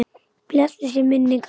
Blessuð sé minning hans, þeirra.